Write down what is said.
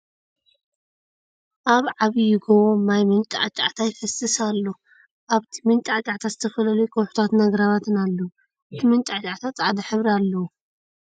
ኣብ ዕባዪ ጎቦ ማይ መንጫዕጫዕታ ይፈስስ ኣሎ ። ኣብቲ መንጫዕጫዕታ ዝተፈላልዩ ከውሒታትን ኣግራባትን ኣሎዉ ። ኣቲ መንጫዕጫዕታ ፅዕዳ ሕብሪ ኣለዎ ።